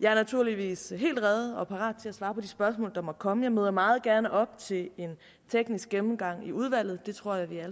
jeg er naturligvis helt rede og parat til at svare på de spørgsmål der måtte komme jeg møder meget gerne op til en teknisk gennemgang i udvalget det tror jeg vi alle